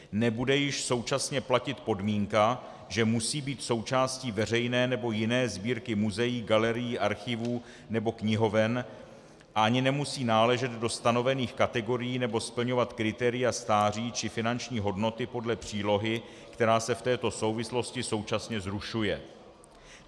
Nebude již současně platit podmínka, že musí být součástí veřejné, nebo jiné sbírky muzeí, galerií, archivů nebo knihoven, ani nemusí náležet do stanovených kategorií nebo splňovat kritéria stáří či finanční hodnoty podle přílohy, která se v této souvislosti současně zrušuje.